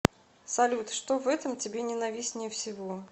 салют что в этом тебе ненавистнее всего